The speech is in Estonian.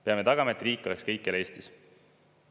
Peame tagama, et riik oleks kõikjal Eestis.